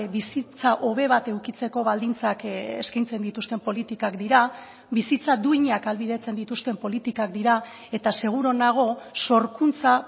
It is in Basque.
bizitza hobe bat edukitzeko baldintzak eskaintzen dituzten politikak dira bizitza duinak ahalbidetzen dituzten politikak dira eta seguru nago sorkuntza